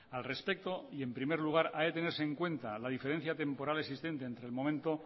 al respecto y en primer lugar ha de tenerse en cuenta la diferencia temporal existente entre el momento